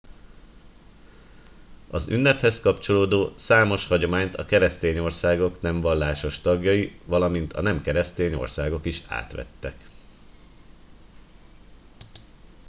az ünnephez kapcsolódó számos hagyományt a keresztény országok nem vallásos tagjai valamint a nem keresztény országok is átvettek